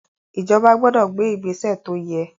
Ìjọba gbọdọ̀ gbé ìgbésè tó yẹ.